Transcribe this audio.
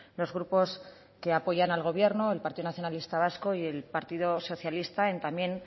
los grupos que apoyan al gobierno el partido nacionalista vasco y el partido socialista y también